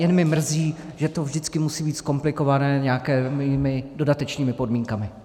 Jen mě mrzí, že to vždycky musí být zkomplikované nějakými dodatečnými podmínkami.